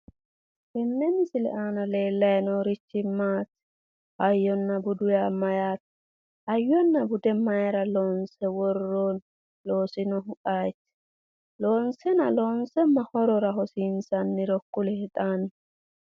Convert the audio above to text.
Tenne misile aana leellayi noorichi maati? Hayyonna budu yaa mayyaate? Hayyonna bude mayira loonse worroonni? Loosinohu ayeeti? Loonsena loonse ma horora hosiinsanniro kulie xaanni.